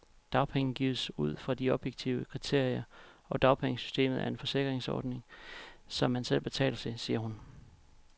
Dagpenge gives ud fra objektive kriterier, og dagpengesystemet er en forsikringsordning, som man selv betaler til, siger hun.